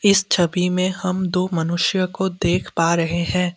इस छवि में हम दो मनुष्यों को देख पा रहे हैं।